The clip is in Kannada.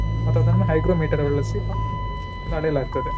ಮತ್ತೆ ಅದನ್ನು hygrometer ಬಳಸಿ ಅಳೆಯಲಾಗುತ್ತದೆ.